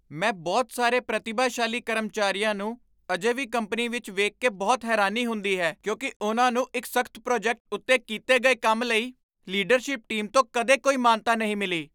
ਮੈਂ ਬਹੁਤ ਸਾਰੇ ਪ੍ਰਤਿਭਾਸ਼ਾਲੀ ਕਰਮਚਾਰੀਆਂ ਨੂੰ ਅਜੇ ਵੀ ਕੰਪਨੀ ਵਿੱਚ ਵੇਖ ਕੇ ਬਹੁਤ ਹੈਰਾਨੀ ਹੁੰਦੀ ਹੈ ਕਿਉਂਕਿ ਉਨ੍ਹਾਂ ਨੂੰ ਇੱਕ ਸਖ਼ਤ ਪ੍ਰੋਜੈਕਟ ਉੱਤੇ ਕੀਤੇ ਗਏ ਕੰਮ ਲਈ ਲੀਡਰਸ਼ਿਪ ਟੀਮ ਤੋਂ ਕਦੇ ਕੋਈ ਮਾਨਤਾ ਨਹੀਂ ਮਿਲੀ।